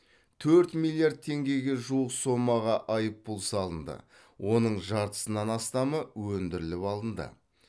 төрт миллиард теңгеге жуық сомаға айыппұл салынды оның жартысынан астамы өндіріліп алынды